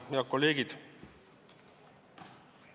Head kolleegid!